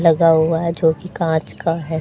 लगा हुआ है जो कि कांच का है।